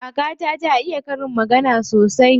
Kakata ta iya karin magana sosai.